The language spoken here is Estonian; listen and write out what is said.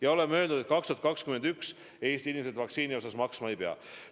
Ka me oleme öelnud, et 2021. aastal Eesti inimesed vaktsiini eest maksma ei pea.